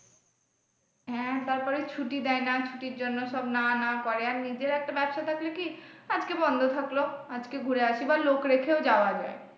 হ্যাঁ তারপরে ছুটি দেয়না ছুটির জন্য সব না না করে আর নিজের একটা ব্যবসা থাকলে কি আজকে বন্ধ থাকলো আজকে ঘুরে আসি বা লোক রেখেও যাওয়া যাই।